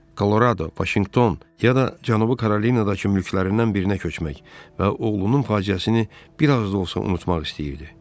Kolorado, Vaşinqton, ya da Cənubi Karolinadakı mülklərindən birinə köçmək və oğlunun faciəsini bir az da olsa unutmaq istəyirdi.